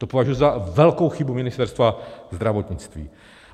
To považuji za velkou chybu Ministerstva zdravotnictví.